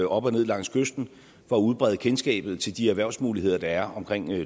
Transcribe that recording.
op og ned langs kysten for at udbrede kendskabet til de erhvervsmuligheder der er omkring